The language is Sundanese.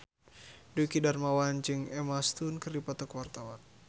Dwiki Darmawan jeung Emma Stone keur dipoto ku wartawan